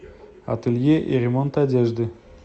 ателье и ремонт одежды